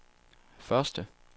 første